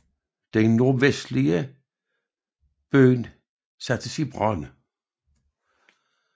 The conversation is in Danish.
Den nordvestlige bydel sattes i brand